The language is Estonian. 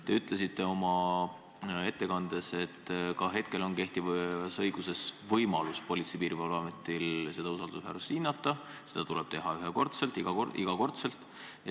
Te ütlesite oma ettekandes, et ka praegu on kehtivas õiguses Politsei- ja Piirivalveametil võimalik seda usaldusväärsust hinnata – seda tuleb teha ühekordselt, igakordselt.